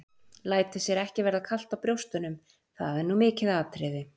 Lætur sér ekki verða kalt á brjóstunum, það er nú mikið atriði.